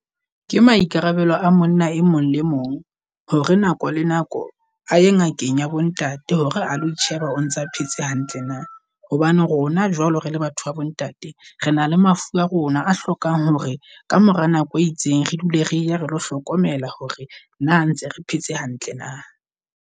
Ke maikarabelo a monna e mong le mong hore nako le nako aye ngakeng ya bo ntate hore a lo isheba o ntsa phetse hantle na. Hobane rona jwalo re le batho ba bo ntate, re na le mafu a rona a hlokang hore ka mora nako e itseng re dule re ya re lo hlokomela hore na ntse re phetse hantle na.